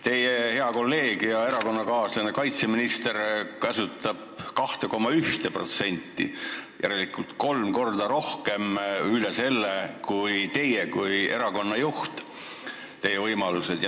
Teie hea kolleeg ja erakonnakaaslane kaitseminister käsutab 2,1%, järelikult on seda kolm korda rohkem, isegi üle selle, kui on teie kui erakonna juhi võimalused.